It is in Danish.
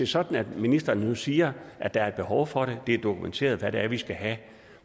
sådan at ministeren nu siger at der er et behov for at det er dokumenteret hvad det er vi skal have